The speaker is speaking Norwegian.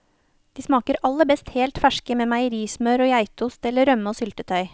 De smaker aller best helt ferske med meierismør og geitost eller rømme og syltetøy.